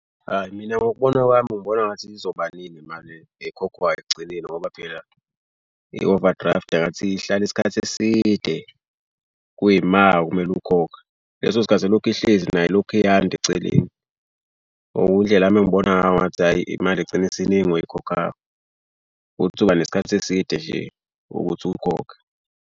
Hayi mina, ngokubona kwami ngibona engathi izoba ningi imali ekhokhwayo ekugcineni ngoba phela i-overdraft engathi ihlala isikhathi eside kuyima kumele ukhokhe. Leso sikhathi ilokhu ihlezi nayo lokhu yanda eceleni. Indlela yami engibona ngayo ngathi hhayi imali igcine isiningi oyikhokhayo. Ukuthi uba nesikhathi eside nje ukuthi ukhokhe.